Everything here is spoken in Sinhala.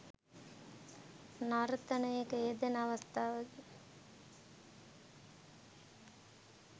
නර්තනයක යෙදෙන අවස්ථාවකි